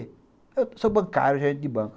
Eu sou bancário, gerente de banco.